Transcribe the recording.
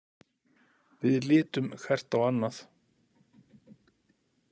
Við litum hvert á annað.